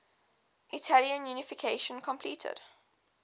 italian unification completed